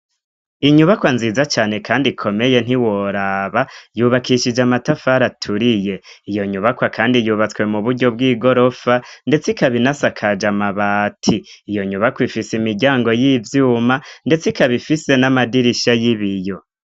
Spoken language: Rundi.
inyubakwa nziza cane kandi ikomeye nt'iworaba yubakishije amatafari aturiye iyo nyubakwa kandi yubatswe mu buryo bw'igorofa ndetse ikabinasakaje mabati iyo nyubakwa ifise imiryango y'ivyuma ndetse ikaba ifise n'amadirisha y'ibiyo